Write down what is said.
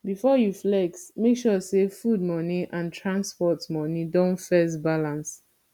before you flex make sure say food money and transport money don first balance